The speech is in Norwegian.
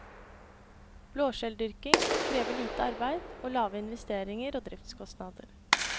Blåskjelldyrking krever lite arbeid og lave investeringer og driftskostnader.